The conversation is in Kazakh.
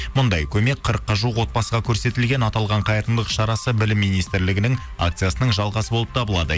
мұндай көмек қырыққа жуық отбасыға көрсетілген аталған қайырымдылық шарасы білім министрлігінің акциясының жалғасы болып табылады